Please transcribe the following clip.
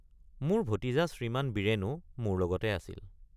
মোৰ ভতিজা শ্ৰীমান বীৰেনে৷ মোৰ লগতে আছিল।